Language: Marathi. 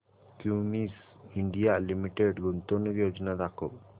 क्युमिंस इंडिया लिमिटेड गुंतवणूक योजना दाखव